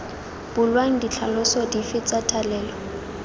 bulwang ditlhaloso dife tsa thalelo